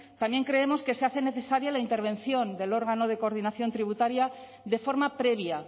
también creemos que se hace necesaria la intervención del órgano de coordinación tributaria de forma previa